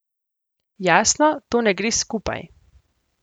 Jasno, to ne gre skupaj.